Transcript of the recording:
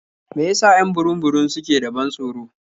Me ya sa 'yan burum-burum suke da ban tsoro?